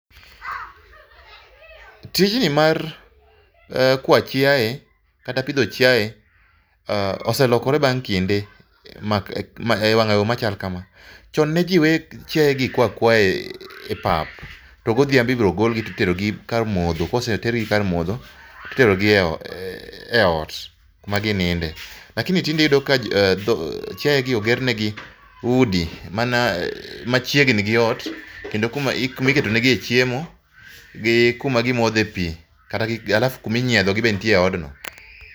Tijni mar eeh, kwa chiaye kata pidho chiaye oselokore bang' kinde e wang'ayo machal kama. Chon ne jii we aweya chiaye kwa akwaya e pap to godhiambo ibiro gol gi titero gi kar modho to kosegol gi kar mondo titerogi e ot ma gininde. Lakini tinde iyudo ka chiaye gi ogernegi udi mana machiegni gi ot kendo kuma iketo negie chiemo gi kuma gimodhe pii alafu kuma inyiedhogi be nitie e odno